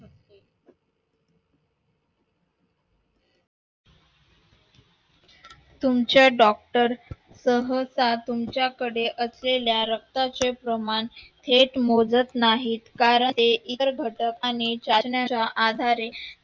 तुमचा doctor सहसा तुमच्याकडे असलेल्या रक्ताचे प्रमाण हेच मोजत नाही कारण ते इतर घटक